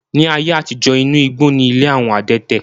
Ní ayé àtijó, inú igbó ni ilé àwọn adẹ́tẹ̀.